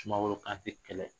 Sumaworo Kante kɛlɛ.